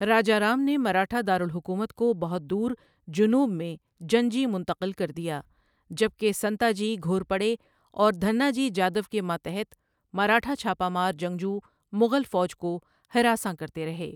راجارام نے مراٹھا دارالحکومت کو بہت دور جنوب میں جنجی منتقل کر دیا، جبکہ سنتاجی گھورپَڑے اور دھناجی جادَو کے ماتحت مراٹھا چھاپہ مار جنگجو مغل فوج کو ہراساں کرتے رہے۔